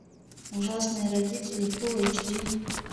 ужасные родители фулл эйч ди